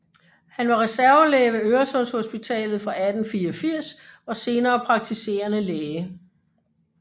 Han var reservelæge ved Øresundshospitalet fra 1884 og senere praktiserende læge